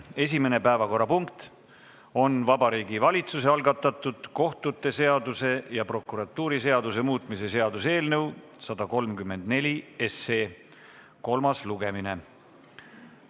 Esimene päevakorrapunkt on Vabariigi Valitsuse algatatud kohtute seaduse ja prokuratuuriseaduse muutmise seaduse eelnõu 134 kolmas lugemine.